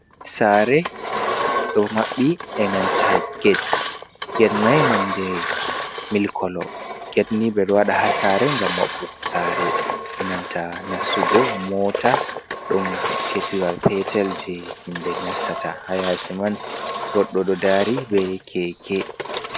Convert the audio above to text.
Saare ɗo maɓɓi e nanta get, get mai nonde mil kolo get ni ɓeɗo waɗa haa saare ngam maɓɓugo saare, e nanta nastugo moota ɗon get wal peetel je himɓe nastata haa yaasi man goɗɗo daari be keekee.